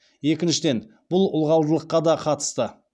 екіншіден бұл ылғалдылыққа да қатысты